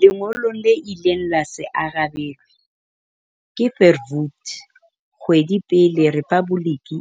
Lengolong le ileng la se arabelwe ke Verwoerd kgwedi pele rephaboliki